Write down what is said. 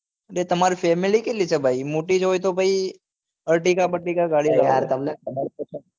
એટલે તમાર family કેટલી છે મોટી જ હોય તો ભાઈ ertiga બલતીકા ગાડી લેવાય એ તમને ખબર તો છે